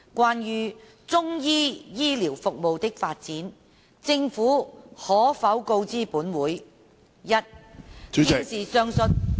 關於中醫醫療服務的發展，政府可否告知本會：一現時上述......